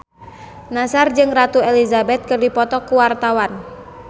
Nassar jeung Ratu Elizabeth keur dipoto ku wartawan